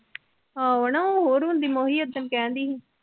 ਆਹੋ ਨਾ ਹੋਰ ਹੁੰਦੀ ਮੈਂ ਉਹੀ ਓਦਣ ਕਹਿੰਦੀ ਸੀ।